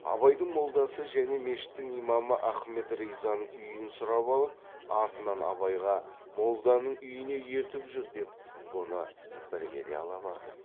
абайдың молдасы және мешіттің имамы ахмет ризаның үйін сұрап алып артынан абайға молданың үйіне ертіп жүр деп бұны бірге де ала барған